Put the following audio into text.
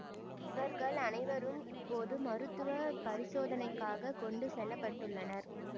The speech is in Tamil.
இவர்கள் அனைவரும் இப்போது மருத்துவ பரிசோதனைக்காக கொண்டு செல்ல பட்டுள்ளனர்